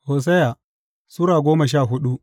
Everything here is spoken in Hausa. Hosiya Sura goma sha hudu